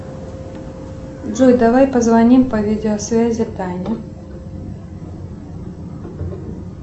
джой давай позвоним по видеосвязи тане